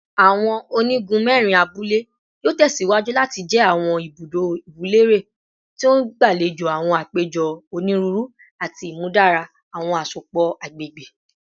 Awọn onigun mẹrin abule yoo tẹsiwaju lati jẹ awọn ibudo iwunlere ti o ngbalejo awọn apejọ oniruuru ati imudara awọn asopọ agbegbe